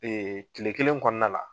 tile kelen kɔnɔna la